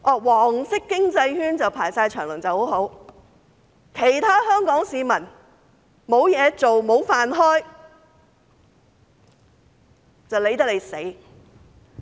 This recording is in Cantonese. "黃色經濟圈"大排長龍就很好，卻懶理其他香港市民沒有工作，無法維生。